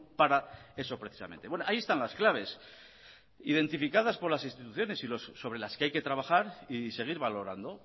para eso precisamente ahí están las claves identificadas por las instituciones y sobre las que hay que trabajar y seguir valorando